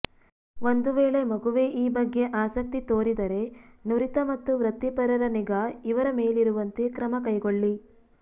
ಒಂದು ವೇಳೆ ಮಗುವೇ ಈ ಬಗ್ಗೆ ಆಸಕ್ತಿ ತೋರಿದರೆ ನುರಿತ ಮತ್ತು ವೃತ್ತಿಪರರ ನಿಗಾ ಇವರ ಮೇಲಿರುವಂತೆ ಕ್ರಮ ಕೈಗೊಳ್ಳಿ